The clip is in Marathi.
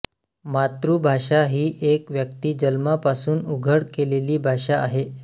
मातृभाषा ही एक व्यक्ती जन्मापासून उघड केलेली भाषा आहे